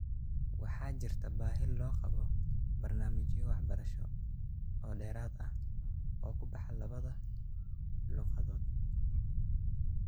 Waxaa jirta baahi loqabo barnaamijyo waxbarasho oo dheeraad ah oo kubaxa labada luuqadood .